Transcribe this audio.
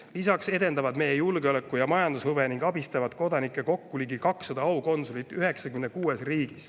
Lisaks edendavad meie julgeoleku- ja majandushuve ning abistavad kodanikke kokku ligi 200 aukonsulit 96 riigis.